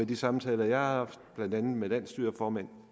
de samtaler jeg har haft blandt andet med landsstyreformand